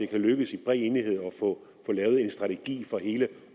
kan lykkes i bred enighed at få lavet en strategi for hele